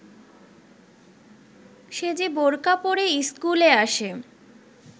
সে যে বোরখা পরে ইস্কুলে আসে